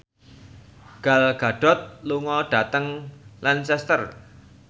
Gal Gadot lunga dhateng Lancaster